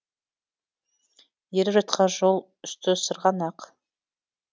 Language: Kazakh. еріп жатқан жол үсті сырғанақ